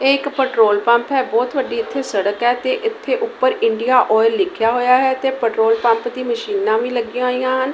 ਇਹ ਇੱਕ petrol pump ਹੈ। ਬਹੁਤ ਵੱਡੀ ਇੱਥੇ ਸੜਕ ਹੈ ਤੇ ਇੱਥੇ ਉੱਪਰ ਇੰਡੀਆ ਓਇਲ ਲਿਖਿਆ ਹੋਇਆ ਹੈ ਤੇ ਪੈਟਰੋਲ ਪੰਪ ਦੀ ਮਸ਼ੀਨਾਂ ਵੀ ਲੱਗੀਆਂ ਹੋਈਆਂ ਹਨ।